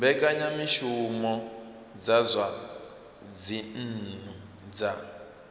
mbekanyamushumo dza zwa dzinnu dza